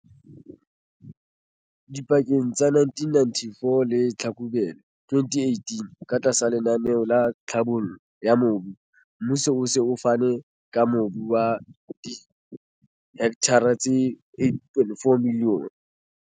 Dipakeng tsa 1994 le Tlhlakubele 2018, katlasa lenaneo la tlhabollo ya mobu, mmuso o se o fane ka mobu wa dihekthara tse 8,4 milione.